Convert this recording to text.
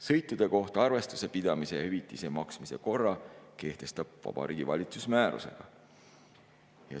Sõitude kohta arvestuse pidamise ja hüvitise maksmise korra kehtestab Vabariigi Valitsus määrusega.